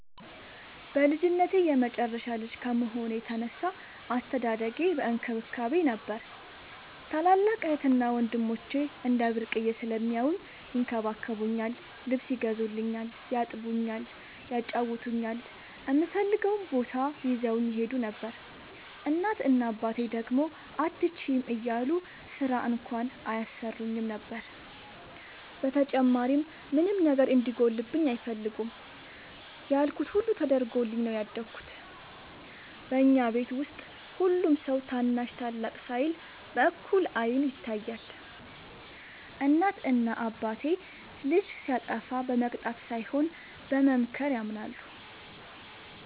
በልጅነቴ የመጨረሻ ልጅ ከመሆኔ የተነሳ አስተዳደጌ በእንክብካቤ ነበር። ታላላቅ እህትና ወንድሞቸ እንደ ብርቅየ ስለሚያውኝ ይንከባከቡኛል ,ልብስ ይገዙልኛል ,ያጥቡኛል ,ያጫውቱኛል, እምፈልገውም ቦታ ይዘውኝ ይሄዱ ነበር። እናት እና አባቴ ደግሞ አትችይም እያሉ ስራ እንኳን አያሰሩኝም ነበር። በተጨማሪም ምንም ነገር እንዲጎልብኝ አይፈልጉም ያልኩት ሁሉ ተደርጎልኝ ነው ያደኩት። በኛ ቤት ውስጥ ሁሉም ሰው ታናሽ ታላቅ ሳይል በእኩል አይን ይታያል። እናት እና አባቴ ልጅ ሲያጠፋ በመቅጣት ሳይሆን በመምከር ያምናሉ።